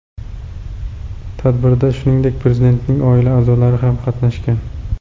Tadbirda, shuningdek, Prezidentning oila a’zolari ham qatnashgan .